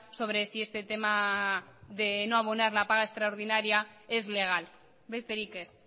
sobre si este tema de no abonar la paga extraordinaria es legal besterik ez